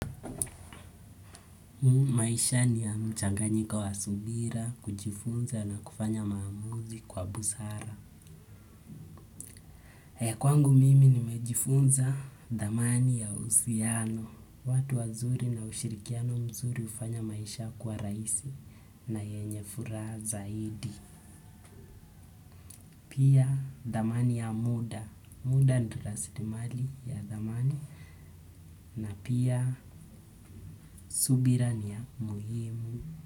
Mu maisha ni ya mchanganyiko wa subira, kujifunza na kufanya maamuzi kwa busara. He kwangu mimi ni majifunza damani ya usiano. Watu wazuri na ushirikiano mzuri hufanya maisha kuwa rahisi na yenye furaha zaidi. Pia damani ya muda. Muda ndo lasirimali ya dhamani. Na pia subira ni ya muhimu.